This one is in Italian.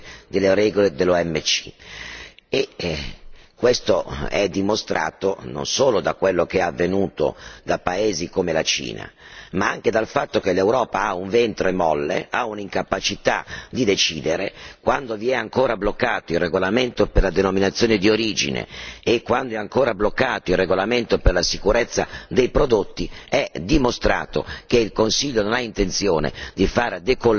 Questo è dimostrato non solo da quello che è avvenuto in paesi come la Cina, ma anche dal fatto che l'Europa ha un ventre molle, ha un'incapacità di decidere quando è ancora bloccato il regolamento per la denominazione di origine e quando è ancora bloccato il regolamento per la sicurezza dei prodotti, è dimostrato che il Consiglio non ha intenzione di far decollare la ripresa e che i posti di lavoro sono